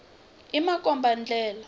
i makomba ndlela